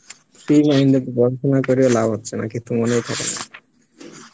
free mind এ কি পড়াশুনা করে লাভ হচ্ছে নাকি তোমার